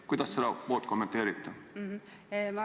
Kuidas te seda kommenteerite?